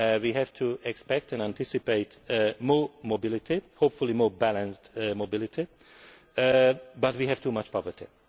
We have to expect and anticipate more mobility hopefully more balanced mobility but we have too much poverty.